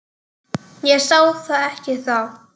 Ég sá það ekki þá.